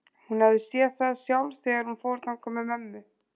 Hún hafði séð það sjálf þegar hún fór þangað með mömmu.